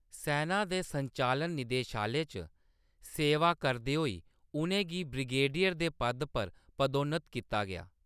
सैना दे संचालन निदेशालय च सेवा करदे होई उʼनें गी ब्रिगेडियर दे पद पर पदोन्नत कीता गेआ हा।